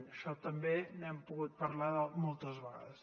d’això també n’hem pogut parlar moltes vegades